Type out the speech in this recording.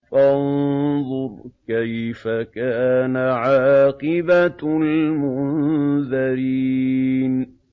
فَانظُرْ كَيْفَ كَانَ عَاقِبَةُ الْمُنذَرِينَ